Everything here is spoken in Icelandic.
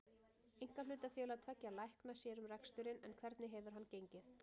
Einkahlutafélag tveggja lækna sér um reksturinn en hvernig hefur hann gengið?